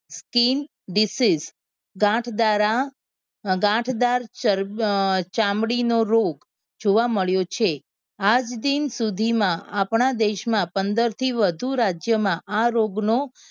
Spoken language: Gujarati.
Skin disease ગાંઠ દારા અ ગાંઠ દાર ચામડી નો રોગ જોવા મળ્યો છે આજ દિન સુધી માં આપણા દેશ માં પંદર થી વધુ રાજ્યો માં આ રોગ નો ફેલાવો